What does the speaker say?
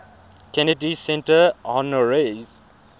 kennedy center honorees